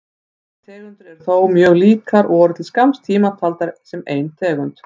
Þessar tegundir eru þó mjög líkar og voru til skamms tíma taldar sem ein tegund.